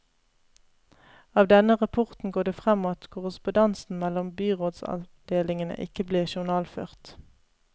Av denne rapporten går det frem at korrespondansen mellom byrådsavdelingene ikke blir journalført.